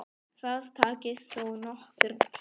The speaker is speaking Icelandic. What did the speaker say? Það taki þó nokkurn tíma.